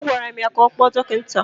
Agwara m ya ka ọ kpọọ dọkịta!